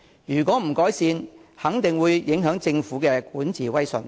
如果不改善這個問題，肯定會影響政府的管治威信。